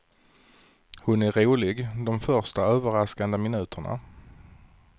Hon är rolig de första, överraskande minuterna.